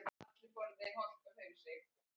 Dilli minn.